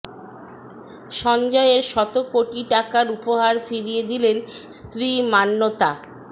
সঞ্জয়ের শত কোটি টাকার উপহার ফিরিয়ে দিলেন স্ত্রী মান্যতা